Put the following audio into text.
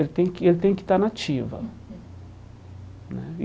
Ele tem ele tem que estar nativa né.